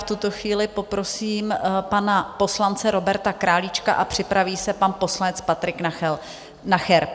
V tuto chvíli poprosím pana poslance Roberta Králíčka a připraví se pan poslanec Patrik Nacher.